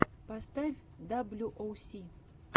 поставь даблю оу си